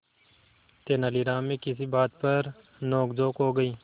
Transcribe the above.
तेनालीराम में किसी बात पर नोकझोंक हो गई